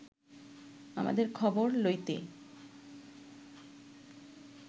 আমাদের খবর লইতে